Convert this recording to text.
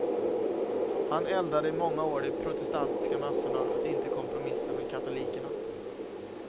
Han eldade i många år de protestantiska massorna att inte kompromissa med katolikerna.